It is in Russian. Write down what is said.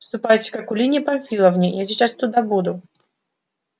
ступайте к акулине памфиловне я сейчас туда буду